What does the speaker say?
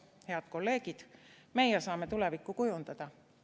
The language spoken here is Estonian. Head kolleegid, meie saame tulevikku kujundada.